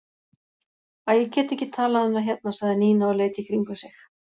Æ, ég get ekki talað um það hérna sagði Nína og leit í kringum sig.